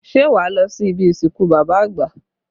Ṣé wá lọ sí ibi ìsìnkú bàbá àgbà?